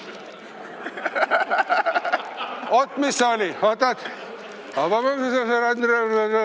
Oot, mis see oli?